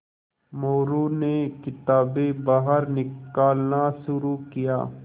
मोरू ने किताबें बाहर निकालना शुरू किया